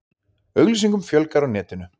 Auglýsingum fjölgar á netinu